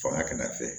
Fanga kɛnɛya fɛ